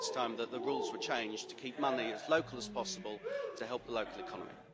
I think it's time that the rules were changed to keep money as local as possible to help the local economy.